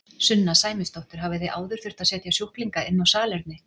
Sunna Sæmundsdóttir: Hafið þið áður þurft að setja sjúklinga inn á salerni?